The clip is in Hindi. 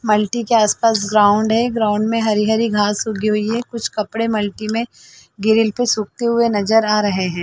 मल्टी के आस पास ग्राउंड है ग्राउंड हरी हरी घास उगी हुई है कुछ कपडे मल्टी में ग्रिल पे सुकते हुए नजर आ रहे है।